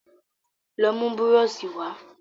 Lọ mú búrọ̀ṣì wa